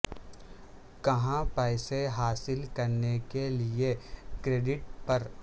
کہاں پیسے حاصل کرنے کے لئے کریڈٹ پر